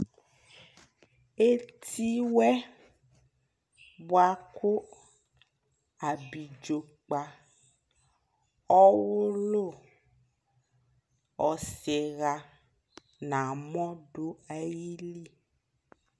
Eti wɛ bua ku abidzo kpa, ɔwulu, ɔsi ɣa na mɔ du ayi li